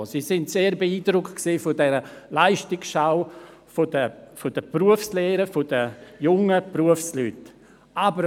Diese Leistungsschau der Berufslehren, der jungen Berufsleute hat sie sehr beeindruckt.